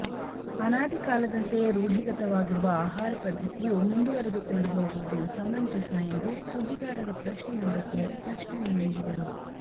ಅನಾಧಿ ಕಾಲದಂತೆ ರೂಢಿಗತವಾಗಿರುವ ಆಹಾರ ಪದ್ಧತಿಯು ಮುಂದುವರೆದುಕೊಂಡು ಹೋಗುವುದು ಸಮಂಜಸ ಎಂದು ಸುದ್ದಿಗಾರರ ಪ್ರಶ್ನೆಯೊಂದಕ್ಕೆ ಸ್ಪಷ್ಟನೆ ನೀಡಿದರು